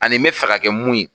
Ani me fɛ ka kɛ mun ye